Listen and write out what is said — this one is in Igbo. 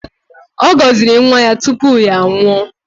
Ọ gọziri nwa ya tupu ya anwụọ